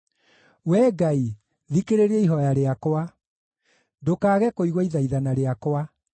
Wee Ngai, thikĩrĩria ihooya rĩakwa, ndũkaage kũigua ithaithana rĩakwa;